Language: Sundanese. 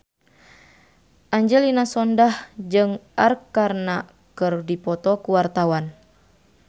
Angelina Sondakh jeung Arkarna keur dipoto ku wartawan